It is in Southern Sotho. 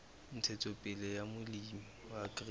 ntshetsopele ya molemi wa grain